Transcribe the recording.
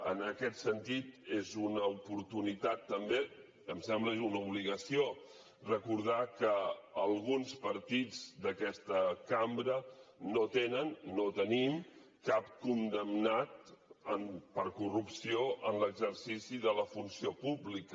en aquest sentit és una oportunitat també em sembla i una obligació recordar que alguns partits d’aquesta cambra no tenen no tenim cap condemnat per corrupció en l’exercici de la funció pública